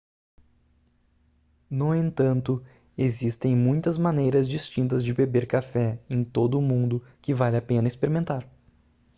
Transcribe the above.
no entanto existem muitas maneiras distintas de beber café em todo o mundo que vale a pena experimentar